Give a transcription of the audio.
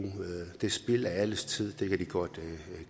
er spild af alles tid og det kan de godt